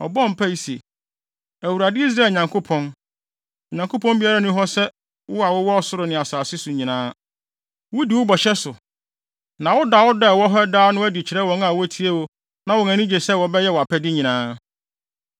Ɔbɔɔ mpae se, “ Awurade, Israel Nyankopɔn, Onyankopɔn biara nni hɔ sɛ wo wɔ ɔsoro ne asase so nyinaa. Wodi wo bɔhyɛ so, na woda wo dɔ a ɛwɔ hɔ daa no adi kyerɛ wɔn a wotie wo na wɔn ani gye sɛ wɔbɛyɛ wʼapɛde nyinaa.